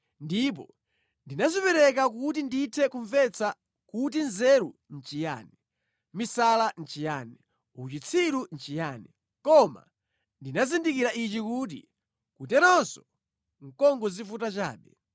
Ndipo ndinadzipereka kuti ndithe kumvetsa kuti nzeru nʼchiyani, misala nʼchiyani, uchitsiru nʼchiyani, koma ndinazindikira ichi, kuti kuteronso nʼkungodzivuta chabe.